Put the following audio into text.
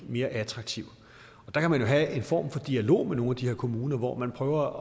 mere attraktiv og der kan man jo have en form for dialog med nogle af de her kommuner hvor man prøver